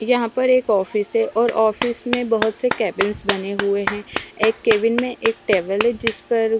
यहाँ पर एक ऑफिस है और ऑफिस में बोहोत से केबिन बने हुए है एक केबिन में एक टेबल है जिस पर --